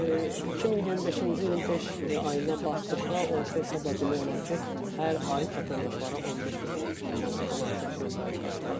2025-ci ilin beş ayına baxdıqda orta hesabla demək olar ki, hər ay vətəndaşlara 15 milyon manatdan artıq vəsait qaytarılıb.